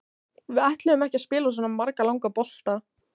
Við ætluðum ekki að spila svona marga langa bolta.